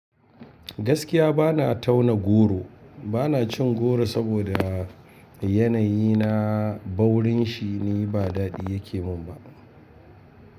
Gaskiya ba na tauna goro, ba na cin goro saboda yanayi na baurin shi ne ba daɗi ya ke mun ba.